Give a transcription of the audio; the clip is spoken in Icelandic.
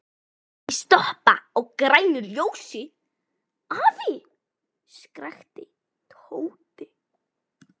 Ekki stoppa á grænu ljósi, afi! skrækti Tóti.